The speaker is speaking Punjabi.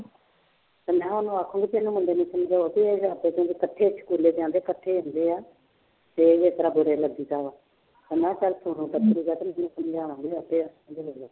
ਤੇ ਮੈਂ ਕਿਹਾ ਉਹਨੂੰ ਆਖਾਂਗੀ ਵੀ ਇਹਨੂੰ ਮੁੰਡੇ ਨੂੰ ਸਮਝਾਓ ਵੀ ਇਹ ਆਪੇ ਦੋਨੇਂ ਇਕੱਠੇ ਸਕੂਲੇ ਜਾਂਦੇ ਇਕੱਠੇ ਆਉਂਦੇ ਆ ਤੇ ਮੈਂ ਕਿਹਾ ਚੱਲ ਸਮਝਾਵਾਂਗੀ ਆਪੇ